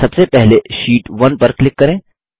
सबसे पहले शीट 1 पर क्लिक करें